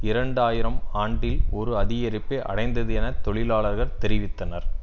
இரண்டு ஆயிரம் ஆண்டில் ஒரு அதிகரிப்பை அடைந்தது என தொழிலாளர்கள் தெரிவித்தனர்